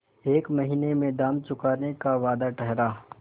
एक महीने में दाम चुकाने का वादा ठहरा